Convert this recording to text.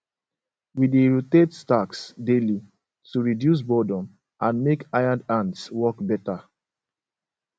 we dey rotate tasks daily to reduce boredom and make hired hands work better